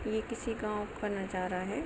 ये किसी गांव का नज़ारा है।